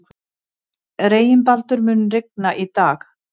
Reginbaldur, mun rigna í dag?